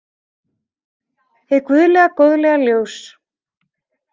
Hið guðlega góðlega ljós.